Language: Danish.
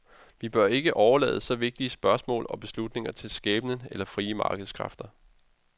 Vi bør ikke overlade så vigtige spørgsmål og beslutninger til skæbnen eller frie markedskræfter.